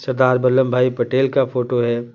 सरदार बल्लम भाई पटेल का फोटो है।